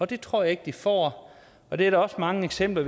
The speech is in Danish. det tror jeg ikke de får og det er der også mange eksempler